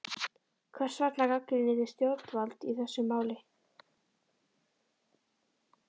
Hvers vegna gagnrýnið þið stjórnvöld í þessu máli?